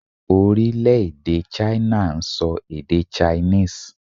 Orílèdè 'China' n so èdè 'Chinese'